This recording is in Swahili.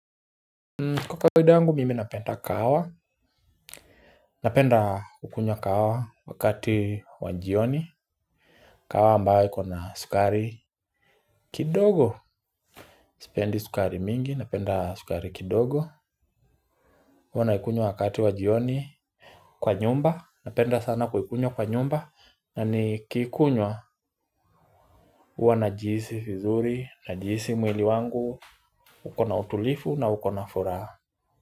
Kwa kawaida yangu mimi napenda kahawa. Napenda kukunywa kahawa wakati wa jioni. Kahawa ambaye ikona sukari Kidogo. Sipendi sukari mingi napenda sukari kidogo. Huwa naikunywa wakati wa jioni. Kwa nyumba napenda sana kuikunywa kwa nyumba na nikiikunywa hua najihisi vizuri najihisi mwili wangu ukona utulivu na ukona furaha.